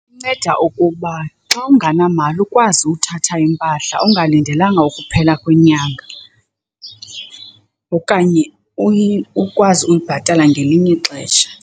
Inceda okokuba xa ungenamali ukwazi uthatha impahla ungalindelanga ukuphela kwenyanga okanye ukwazi uyibhatala ngelinye ixesha.